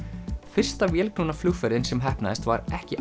fyrsta vélknúna flugferðin sem heppnaðist var ekki